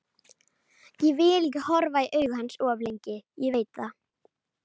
Ég vil ekki horfa í augu hans of lengi, ég veit það.